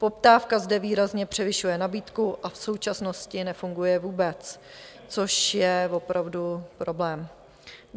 Poptávka zde výrazně převyšuje nabídku a v současnosti nefunguje vůbec, což je opravdu problém.